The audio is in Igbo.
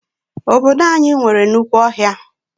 Obodo anyị nwere nnukwu ọhịa.